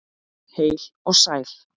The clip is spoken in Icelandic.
Heil og sæl.